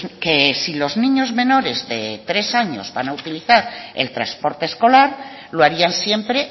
que si los niños menores de tres años van a utilizar el transporte escolar lo harían siempre